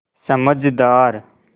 समझदार